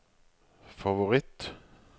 favoritt